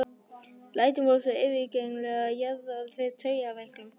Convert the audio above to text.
Lætin voru svo yfirgengileg að það jaðraði við taugaveiklun.